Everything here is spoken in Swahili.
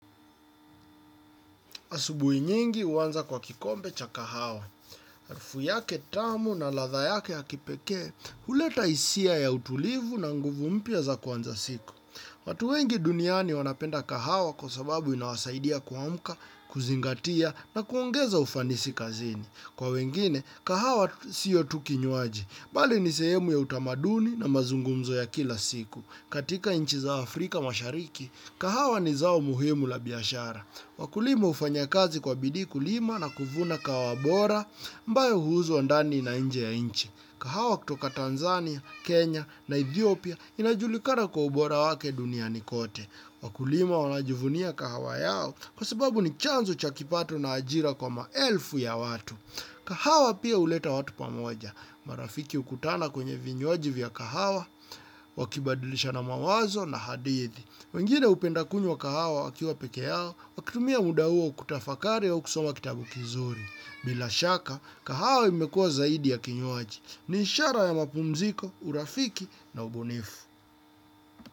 Asubui nyingi huanza kwa kikombe cha kahawa. Harufu yake tamu na ladha yake ya kipekee, huleta hisia ya utulivu na nguvu mpya za kuanza siku. Watu wengi duniani wanapenda kahawa kwa sababu inawasaidia kuamka, kuzingatia na kuongeza ufanisi kazini. Kwa wengine, kahawa sio tu kinywaji. Bali ni sehemu ya utamaduni na mazungumzo ya kila siku. Katika nchi za Afrika mashariki, kahawa ni zao muhimu la biashara. Wakulima hufanya kazi kwa bidii kulima na kuvuna kahawa bora ambayo huuzwa ndani na nje ya inchi. Kahawa kutoka Tanzania, Kenya na Ethiopia inajulikana kwa ubora wake duniani kote. Wakulima wanajivunia kahawa yao kwa sababu ni chanzo cha kipato na ajira kwa maelfu ya watu. Kahawa pia huleta watu pamoja. Marafiki hukutana kwenye vinywaji vya kahawa, wakibadilishana mawazo na hadithi. Wengine hupenda kunywa kahawa wakiwa peke yao, wakitumia muda huo kutafakari au kusoma kitabu kizuri. Bila shaka, kahawa imekua zaidi ya kinywaji. Ni ishara ya mapumziko, urafiki na ubunifu.